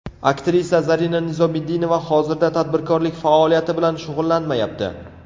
Aktrisa Zarina Nizomiddinova hozirda tadbirkorlik faoliyati bilan shug‘ullanmayapti.